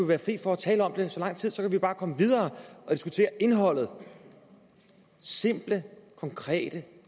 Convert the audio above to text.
være fri for at tale om det i så lang tid så kunne vi bare komme videre og diskutere indholdet simple konkrete